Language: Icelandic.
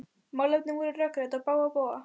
Málefnin voru rökrædd á bága bóga.